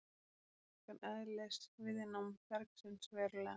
Þetta lækkar eðlisviðnám bergsins verulega.